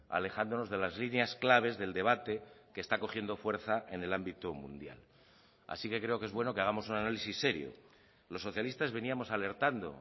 alejándonos de las líneas claves del debate que está cogiendo fuerza en el ámbito mundial así que creo que es bueno que hagamos un análisis serio los socialistas veníamos alertando